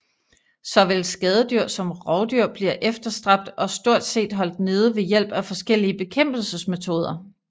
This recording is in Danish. Såvel skadedyr som rovdyr bliver efterstræbt og stort set holdt nede ved hjælp af forskellige bekæmpelsesmetoder